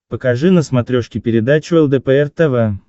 покажи на смотрешке передачу лдпр тв